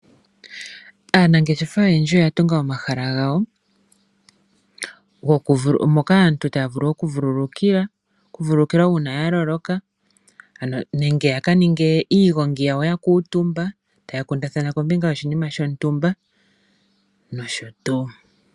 Aanangeshefa oyendji oya tunga omahala gawo, moka aantu taya vulu okuvulukilwa uuna ya loloka, nenge ya ka ninge iigongi yawo ya kuutumba, taya kundathana kombinga yoshinima shontumba, nosho tuu.